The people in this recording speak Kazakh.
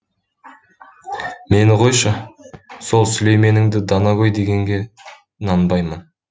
мені қойшы сол сүлейменіңді данагөй дегенге нанбаймын